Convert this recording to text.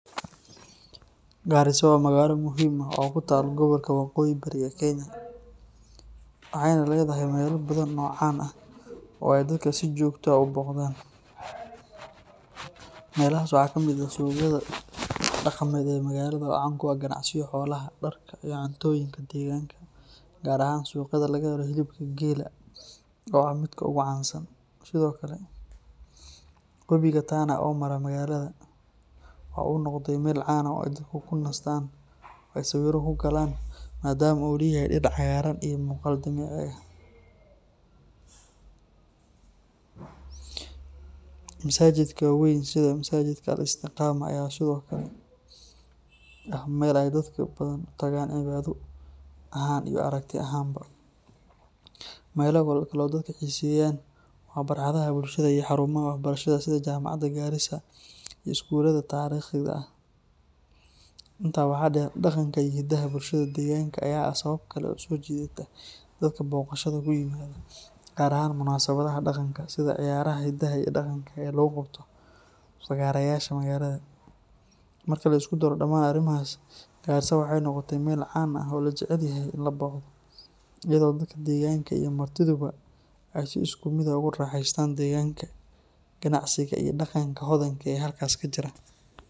Garissa waa magaalo muhiim ah oo ku taal gobolka waqooyi bari ee Kenya, waxayna leedahay meelal badan oo caan ah oo ay dadka si joogto ah u booqdaan. Meelahaas waxaa ka mid ah suuqyada dhaqameed ee magaalada oo caan ku ah ganacsiga xoolaha, dharka, iyo cuntooyinka deegaanka, gaar ahaan suuqyada laga helo hilibka geela oo ah midka ugu caansan. Sidoo kale, wabiga Tana oo mara magaalada waxa uu noqday meel caan ah oo ay dadku ku nastaan oo ay sawirro ku galaan, maadaama uu leeyahay dhir cagaaran iyo muuqaal dabiici ah. Masaajidda waa weyn sida Masaajidka Al-Istiqama ayaa sidoo kale ah meel ay dadka badan u tagaan cibaado ahaan iyo aragti ahaanba. Meelo kale oo dadku xiiseeyaan waa barxadaha bulshada iyo xarumaha waxbarashada sida Jaamacadda Garissa iyo iskuulada taariikhiga ah. Intaa waxaa dheer, dhaqanka iyo hiddaha bulshada deegaanka ayaa ah sabab kale oo soo jiidata dadka booqashada ku yimaada, gaar ahaan munaasabadaha dhaqanka sida ciyaaraha hidaha iyo dhaqanka ee lagu qabto fagaarayaasha magaalada. Marka la isku daro dhammaan arrimahaas, Garissa waxay noqotay meel caan ah oo la jecel yahay in la booqdo, iyadoo dadka deegaanka iyo martiduba ay si isku mid ah ugu raaxaystaan degaanka, ganacsiga, iyo dhaqanka hodanka ah ee halkaas ka jira.